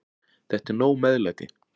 Þetta er nóg meðlæti.